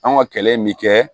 An ka kɛlɛ in bi kɛ